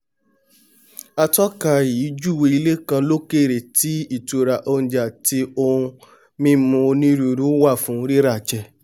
atọ́ka yìí júwèé ilé kan lókèrè tí ìtura oúnjẹ àti nǹkan mímu onírúirú wà fún ríràjẹ